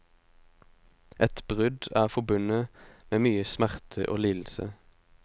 Et brudd er forbundet med mye smerte og lidelse.